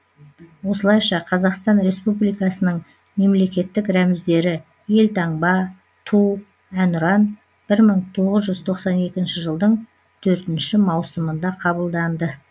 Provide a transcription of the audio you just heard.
осылайша қазақстан республикасының мемлекеттік рәміздері елтаңба ту әнұран бір мың тоғыз жүз тоқсан екінші жылдың төртінші маусымында қабылданды